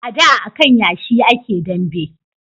A da a kan yashi a ke dambe